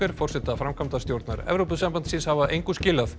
forseta framkvæmdastjórnar Evrópusambandsins hafa engu skilað